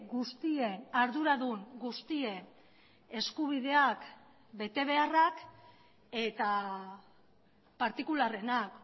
guztien arduradun guztien eskubideak betebeharrak eta partikularrenak